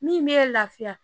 Min bɛ lafiya